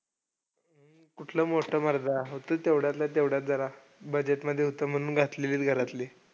कुठलं मोठं मर्दा होतं तेवढ्यातल्या तेवढ्यात जरा budget मध्ये होतं म्हणून घातलं घरातल्यांनी.